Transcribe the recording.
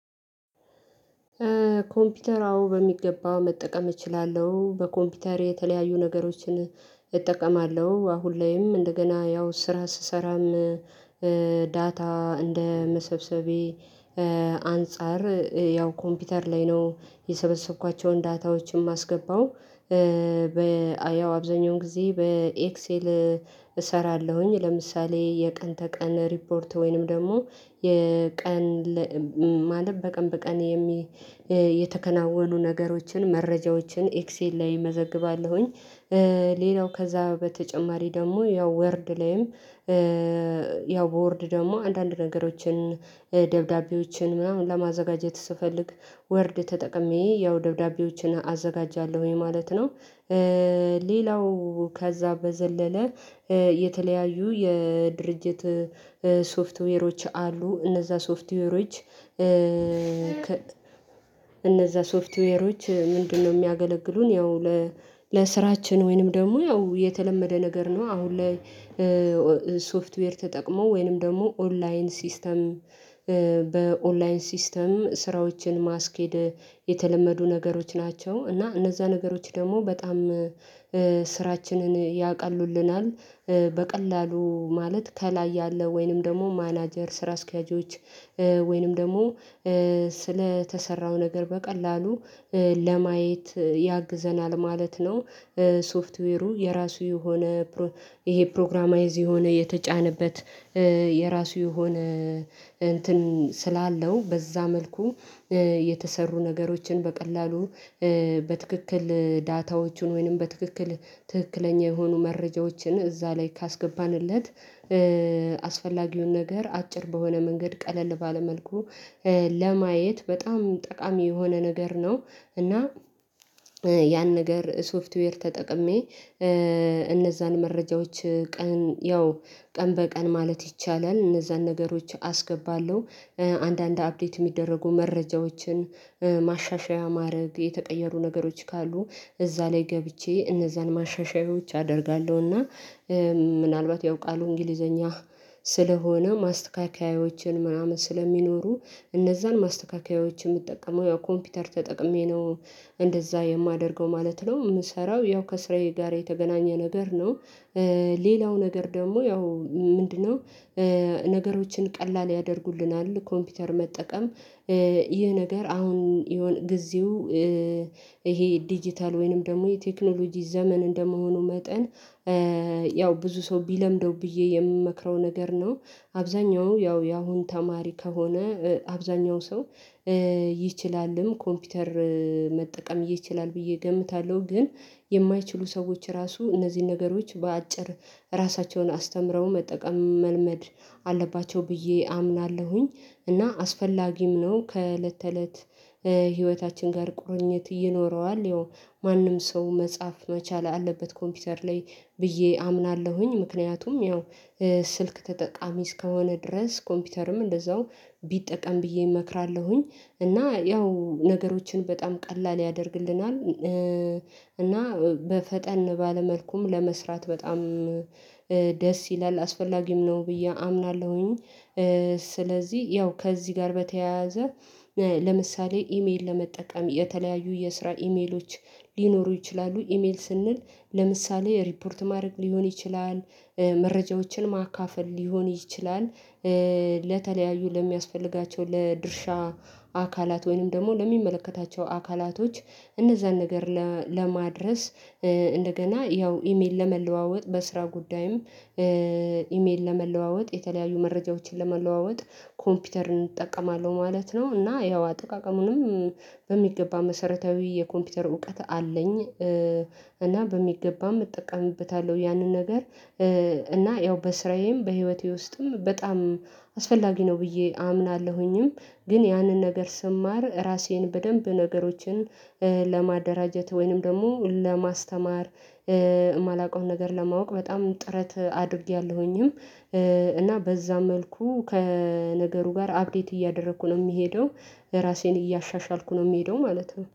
ኮምፒውተር አዎ በሚገባው መጠቀም እችላለሁ በኮምፒውተር የተለያዩ ነገሮችን እጠቀማለሁ አሁን ላይም እንደገና ያው ስራ ስሰራም ዳታ እንደ መሰብሰቤ አንፃር ያው ኮምፒውተር ላይ ነው የሰበሰብኳቸውን ዳታዎችን ማስገባው በ አያው አብዛኛውን ጊዜ በኤክሴል እሰራለሁኝ ለምሳሌ የቀን ተቀን ሪፖርት ወይንም ደግሞ የቀን ማለት በቀን በቀን የተከናኑ ነገሮችን መረጃዎችን ኤክሴል ላይ እመዘግባለሁኝ። ሌላው ከዛ በተጨማሪ ደግሞ ያው ወርድ ላይም ያው በወርድ ደግሞ አንዳንድ ነገሮችን ደብዳቤዎችን ምናምን ለማዘጋጀት ስፈልግ ወርድ ተጠቅሜ ያው ደብዳቤዎችን አዘጋጃለሁኝ ማለት ነው። ሌላው ከዛ በዘለለ የተለያዩ የድርጅት ሶፍትዌሮች አሉ እነዛ ሶፍትዌሮች እነዛ ሶፍትዌሮች ምንድነው? የሚያገለግሉን ያው ለስራችን ወይንም ደግሞ ያው የተለመደ ነገር ነው አሁን ላይ ሶፍትዌር ተጠቅሞ ወይንም ደግሞ ኦንላይን ሲስተም በኦንላይን ሲስተም ስራዎችን ማስኬድ የተለመዱ ነገሮች ናቸው እና እነዛ ነገሮች ደግሞ በጣም ስራችንን ያቀሉልናል። በቀላሉ ማለት ከላይ ያለ ወይንም ደግሞ ማናጀር ስራ አስኪያጆች ወይንም ደግሞ ስለተሰራው ነገር በቀላሉ ለማየት ያግዘናል ማለት ነው። ሶፍትዌሩ የራሱ የሆነ ይሄ ፕሮግራማይዝ የሆነ የተጫነበት የራሱ የሆነ አንትን ስላለው በዛ መልኩ የተሰሩ ነገሮችን በቀላሉ በትክክል ዳታዎቹን ወይንም በትክክል ትክክለኛ የሆኑ መረጃዎችን እዛ ላይ ካስገባንለት አስፈላጊውን ነገር አጭር በሆነ መንገድ ቀለል ባለ መልኩ ለማየት በጣም ጠቃሚ የሆነ ነገር ነው። እና ያን ነገር ሶፍትዌር ተጠቅሜ እነዛን መረጃዎች ቀን ያው ቀን በቀን ማለት ይቻላል እነዛን ነገሮች አስገባለሁ አንዳንድ አፕዴት የሚደረጉ መረጃዎችን ማሻሻያ ማድረግ የተቀየሩ ነገሮች ካሉ እዛ ላይ ገብቼ እነዛን ማሻሻያዎች አደርጋለሁና ምናልባት ያውቃሉ እንግሊዘኛ ስለሆነ ማስተካከያዎችን ምናምን ስለሚኖሩ እነዛን ማስተካከያዎችን የምትጠቀመው ያው ኮምፒተር ተጠቅሜ ነው እንደዛ የማደርገው ማለት ነው የምሰራው ያው ከስራዬ ጋር የተገናኘ ነገር ነው። ሌላው ነገር ደግሞ ያው ምንድነው ነገሮችን ቀላል ያደርጉልናል ኮምፒውተር መጠቀም ይህ ነገር አሁን የሆነ ጊዜው ይሄ ዲጂታል ወይንም ደግሞ የቴክኖሎጂ ዘመን እንደመሆኑ መጠን ያው ብዙ ሰው ቢለምደው ብዬ የምመክረው ነገር ነው። አብዛኛው ያው ያሁን ተማሪ ከሆነ አብዛኛው ሰው ይችላልም ኮምፒውተር መጠቀም ይችላል ብዬ እገምታለሁ ግን የማይችሉ ሰዎች ራሱ እነዚህን ነገሮች በአጭር ራሳቸውን አስተምረው መጠቀም መልመድ አለባቸው ብዬ አምናለሁኝ። እና አስፈላጊም ነው ከእለት ተእለት ህይወታችን ጋር ቁርኝት ይኖረዋል ያው ማንም ሰው መጻፍ መቻል አለበት ኮምፒውተር ላይ ብዬ አምናለሁኝ ምክንያቱም ያው ስልክ ተጠቃሚ እስከሆነ ድረስ ኮምፒውተርም እንደዛው ቢጠቀም ብዬ እመክራለሁኝ እና ያው ነገሮችን በጣም ቀላል ያደርግልናል። እና በፈጠን ባለ መልኩም ለመስራት በጣም ደስ ይላል አስፈላጊም ነው ብዬ አምናለሁኝ። ስለዚህ ያው ከዚህ ጋር በተያያዘ ለምሳሌ ኢሜል ለመጠቀም የተለያዩ የስራ ኢሜሎች ሊኖሩ ይችላሉ ኢሜል ስንል ለምሳሌ ሪፖርት ማድረግ ሊሆን ይችላል መረጃዎችን ማካፈል ሊሆን ይችላል ለተለያዩ ለሚያስፈልጋቸው ለድርሻ አካላት ወይንም ደግሞ ለሚመለከታቸው አካላቶች እነዛን ነገር ለማድረስ እንደገና ያው ኢሜል ለመለዋወጥ በስራ ጉዳይም ኢሜል ለመለዋወጥ የተለያዩ መረጃዎችን ለመለዋወጥ ኮምፒውተርን እጠቀማለሁ ማለት ነው። እና ያው አጠቃቀሙንም በሚገባ መሰረታዊ የኮምፒውተር እውቀት አለኝ። እና በሚገባም እጠቀምበታለሁ ያንን ነገር እና ያው በስራዬም በህይወቴ ውስጥም በጣም አስፈላጊ ነው ብዬ አምናለሁኝም። ግን ያንን ነገር ስማር ራሴን በደንብ ነገሮችን ለማደራጀት ወይንም ደግሞ ለማስተማር የማላውቀውን ነገር ለማወቅ በጣም ጥረት አድርጌያለሁኝም እና በዛ መልኩ ከነገሩ ጋር አብዴት እያደረኩ ነው የሚሄደው ራሴን እያሻሻልኩ ነው የምሄደው ማለት ነው